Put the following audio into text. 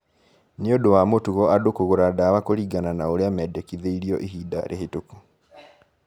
Nĩ ũndũ wa mũtugo andũ kũgũra dawa kũringana na ũrĩa mendekithĩirio ihinda rĩhetũku